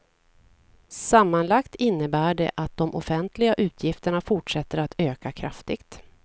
Sammanlagt innebär det att de offentliga utgifterna fortsätter att öka kraftigt.